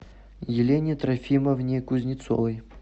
елене трофимовне кузнецовой